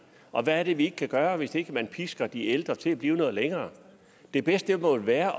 og hvad er det vi ikke kan gøre hvis ikke man pisker de ældre til at blive noget længere det bedste må vel være